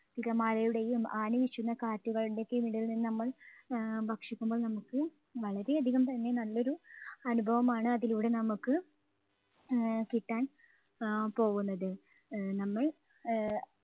തിരമാലയുടെയും ആഞ്ഞു വീശുന്ന കാറ്റുകളുടെയും ഒക്കെ ഇടയിൽ നിന്ന് നമ്മൾ ആഹ് ഭക്ഷിക്കുമ്പോൾ നമുക്ക് വളരെയധികം തന്നെ നല്ലൊരു അനുഭവമാണ് അതിലൂടെ നമുക്ക് ആഹ് കിട്ടാൻ അഹ് പോകുന്നത്. ആഹ് നമ്മൾ അഹ്